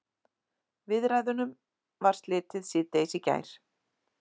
Viðræðunum var slitið síðdegis í gær